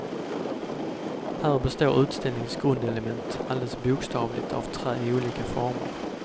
Här består utställningens grundelement alldeles bokstavligt av trä i olika former.